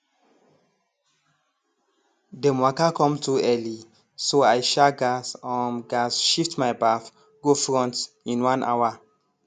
dem waka come too early so i um gas um gas shift my baff go front in one hour